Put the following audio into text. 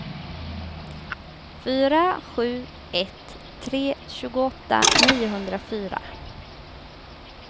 fyra sju ett tre tjugoåtta niohundrafyra